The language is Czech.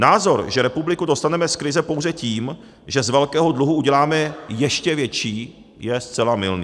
Názor, že republiku dostaneme z krize pouze tím, že z velkého dluhu uděláme ještě větší, je zcela mylný.